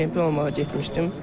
Çempion olmağa getmişdim.